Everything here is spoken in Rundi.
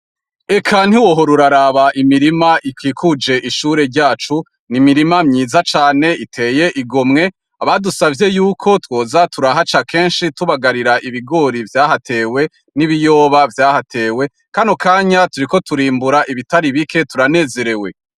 Eka ntiwohora uraraba, imirima ikikuje ishure ryacu. Ni imirima myiza cane iteye igomwe. Abadusabye yuko twoza turahaca kenshi tubagarira ibigori vyahatewe n'ibiyoba vyahatewe, kano kanya turiko turimbura ibitari bike turanezerewe.